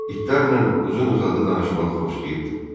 İtlərlə uzun-uzadı danışmağı xoşlayırdı.